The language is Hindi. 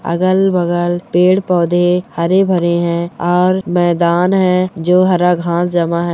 अगल-बगल पेड़-पौधे हरे - भरे हैं और मैदान है जो हरा घांस जमा है।